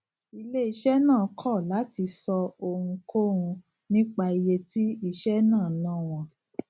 iléiṣẹ náà kò láti sọ ohunkóhun nípa iye tí iṣé náà ná wọn